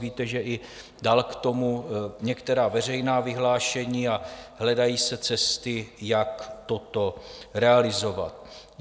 Víte, že i dal k tomu některá veřejná vyhlášení a hledají se cesty, jak toto realizovat.